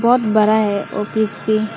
बहुत बड़ा है ऑफिस भी।